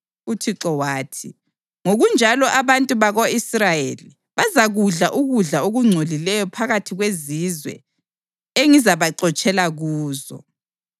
UThixo wathi, “Ngokunjalo abantu bako-Israyeli bazakudla ukudla okungcolileyo phakathi kwezizwe engizabaxotshela kuzo.”